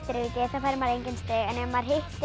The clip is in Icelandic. fær maður engin stig en ef maður hittir